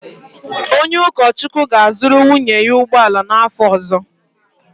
Onye ụkọchukwu ga-azụrụ nwunye ya ụgbọ ala n’afọ ọzọ.